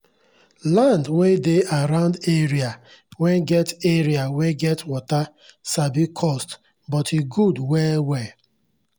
land wen dey around area wen get area wen get water sabi cost but e good well well